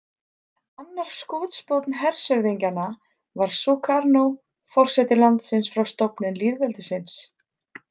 Annar skotspónn hershöfðingjanna var Sukarno, forseti landsins frá stofnun lýðveldisins.